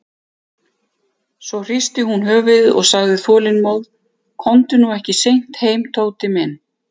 Svo hristi hún höfuðið og sagði þolinmóð: Komdu nú ekki seint heim, Tóti minn.